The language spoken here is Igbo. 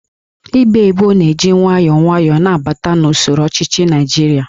Íkpá Ébò na-eji nwayọọ nwayọọ na-abata n'usoro ọchịchị Naijiria